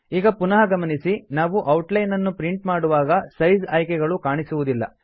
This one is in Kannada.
ಈಗ ಪುನಃ ಗಮನಿಸಿ ನಾವು ಔಟ್ ಲೈನ್ ನ್ನು ಪ್ರಿಂಟ್ ಮಾಡುವಾಗ ಸೈಜ್ ಆಯ್ಕೆಗಳು ಕಾಣಿಸುವುದಿಲ್ಲ